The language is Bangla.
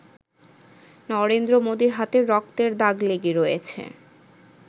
নরেন্দ্র মোদির হাতে রক্তের দাগ লেগে রয়েছে।